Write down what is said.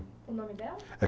O nome dela?